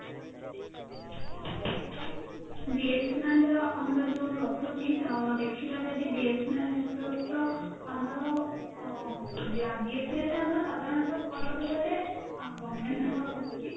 BSNL ର ଆମର ଜୋଉ ରହୁଛି ଦେଖିବା ଯଦି BSNL network ତ ଆମର ସାଧାରଣତଃ କହିବାକୁ ଗଲେ